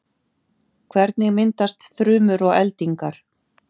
hvernig myndast þrumur og eldingar